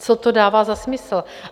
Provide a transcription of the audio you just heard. Co to dává za smysl?